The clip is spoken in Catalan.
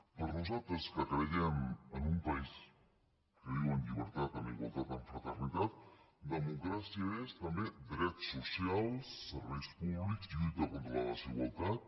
per nosaltres que creiem en un país que viu en llibertat en igualtat amb fraternitat democràcia és també drets socials serveis públics lluita contra la desigualtat